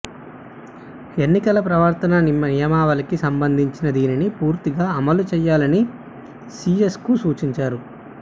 ఎన్నికల ప్రవర్తనా నియమావళికి సంబంధించిన దీనిని పూర్తిగా అమలు చేయాలని సీఎస్కు సూచించారు